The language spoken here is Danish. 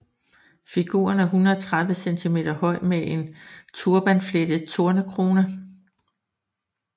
Figuren er 130 cm høj med en turbanflettet tornekrone